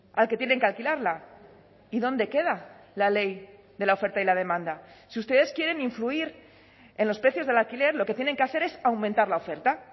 al que tienen que alquilarla y dónde queda la ley de la oferta y la demanda si ustedes quieren influir en los precios del alquiler lo que tienen que hacer es aumentar la oferta